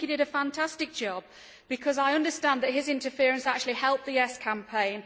I think he did a fantastic job because I understand that his interference actually helped the yes' campaign.